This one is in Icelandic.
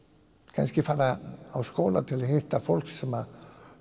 kannski fara í skóla til að hitta fólk sem